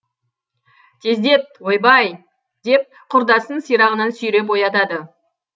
тездет ойбай деп құрдасын сирағынан сүйреп оятады